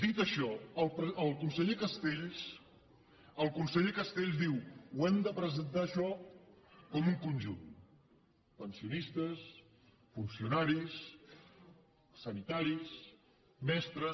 dit això el conseller castells el conseller castells diu hem de presentar això com un conjunt pensionistes funcionaris sanitaris mestres